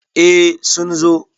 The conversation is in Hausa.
eh sun zo